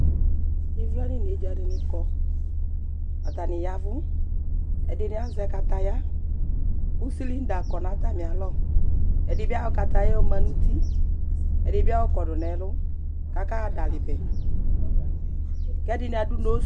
ivla nu inedza dini kɔ, ata ni yavu, ɛdini azɛ kataya, ku slinda kɔ nu ata mí alɔ, ɛdi bi ayɔ kataya yɛ yɔ ma nu uti, ɛdi bi kɔ nu ɛlu, ka kaɣa dali nɛ, ku ɛdini adu nos